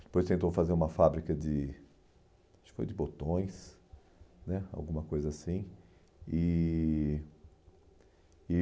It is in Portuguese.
Depois tentou fazer uma fábrica de acho que foi botões né, alguma coisa assim. E e